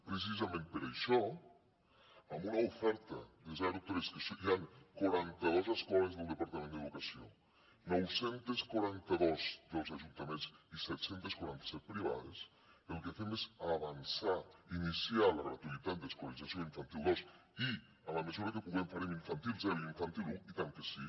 precisament per això amb una oferta de zero tres en què hi han quaranta dos escoles del departament d’educació nou cents i quaranta dos dels ajuntaments i set cents i quaranta set privades el que fem és avançar iniciar la gratuïtat d’escolarització a infantil dos i en la mesura que puguem farem infantil zero i infantil un i tant que sí